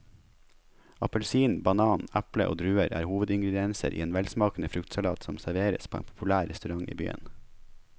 Appelsin, banan, eple og druer er hovedingredienser i en velsmakende fruktsalat som serveres på en populær restaurant i byen.